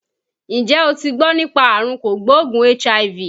Ǹjẹ́ o ti gbọ́ nípa àrùn kò gbóògùn HIV?